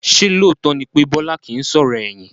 Ṣé lóòótọ́ ni pé Bọlá kìí sọ̀rọ̀ ẹ̀yìn?